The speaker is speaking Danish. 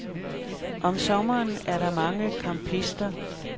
Om sommeren er der mange campister.